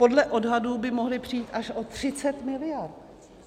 Podle odhadů by mohly přijít až o 30 miliard.